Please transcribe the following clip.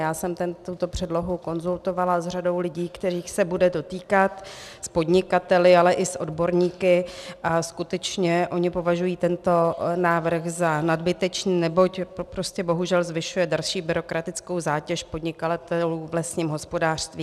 Já jsem tuto předlohu konzultovala s řadou lidí, kterých se bude dotýkat, s podnikateli, ale i s odborníky, a skutečně oni považují tento návrh za nadbytečný, neboť prostě bohužel zvyšuje další byrokratickou zátěž podnikatelů v lesním hospodářství.